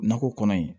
Nakɔ kɔnɔ in